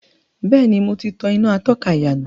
Bẹ́ẹ̀ni, mo ti tàn iná atọ́ka ìyànà.